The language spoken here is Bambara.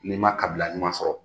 N'i ma kabila ɲuman sɔrɔ.